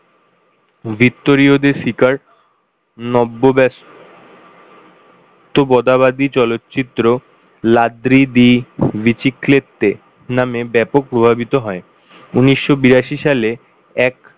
Vittorio De Sica নব্য ব্যস তবতাবাদী চলচ্চিত্র Ladri di biciclette নামে ব্যাপক প্রভাবিত হয় উনিশশো বিরাশি সালে এক,